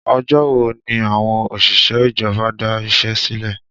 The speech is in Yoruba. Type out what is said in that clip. Ọjọ́ wo ni àwọn òṣìṣẹ́ ìjọba da iṣẹ́ sílẹ̀?